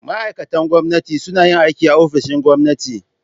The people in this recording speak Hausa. Ma'aikatan gwamnati suna yin aiki a ofishin gwamnati.